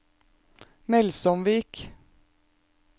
Melsomvik